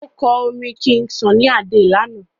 o kò orin king sunny Ade lànà.